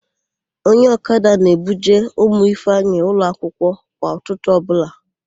Onye ọkada na-ebuje ụmụ Ifeanyị ụlọakwụkwọ kwa ụtụtụ ọbụla.